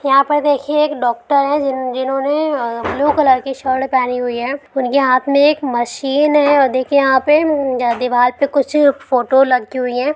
यहाँ पर देखिए एक डॉक्टर है जिन्होंने ब्लू कलर की शर्ट पहनी हुई है उनके हाथ मे एक मशीन है और देखिए यहाँ पे उम दिवाल पे कुछ फोटो लगी हुई है।